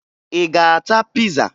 Ị ga-ata piza?